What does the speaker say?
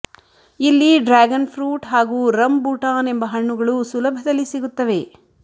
ಇಲ್ಲಿ dragon fruit ಹಾಗೂ rambutan ಎಂಬ ಹಣ್ಣುಗಳು ಸುಲಭದಲ್ಲಿ ಸಿಗುತ್ತವೆ